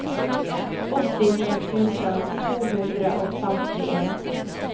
åttini tusen to hundre og femtien